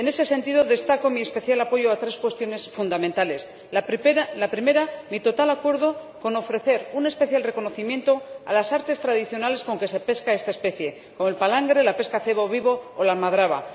En ese sentido, destaco mi especial apoyo a tres cuestiones fundamentales. La primera, mi total acuerdo con ofrecer un especial reconocimiento a las artes tradicionales con que se pesca esta especie o el palangre, o la pesca de cebo vivo o la almadraba.